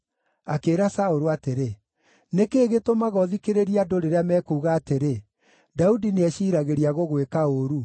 Akĩĩra Saũlũ atĩrĩ, “Nĩ kĩĩ gĩtũmaga ũthikĩrĩrie andũ rĩrĩa mekuuga atĩrĩ, ‘Daudi nĩeciiragĩria gũgwĩka ũũru’?